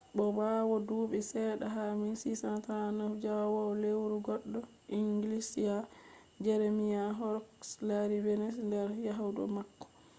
bo ɓawo duuɓi seɗɗa ha 1639 njahowo lewru goɗɗo inglisiya jeremiah horrocks lari venus nder yahdu mako